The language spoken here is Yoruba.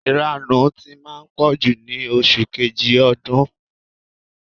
Ìranù ti máa ń pọ̀jù ní oṣù kejì ọdún.